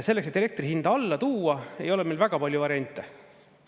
Selleks, et elektri hinda alla tuua, ei ole meil väga palju variante.